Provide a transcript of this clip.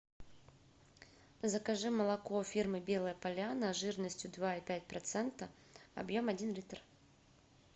закажи молоко фирмы белая поляна жирностью два и пять процента объем один литр